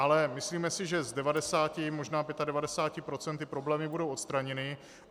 Ale myslíme si, že z 90, možná 95 % ty problémy budou odstraněny.